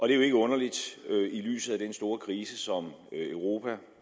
er jo ikke underligt i lyset af den store krise som europa og